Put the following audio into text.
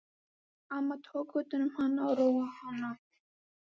Amma tók utan um hana og róaði hana.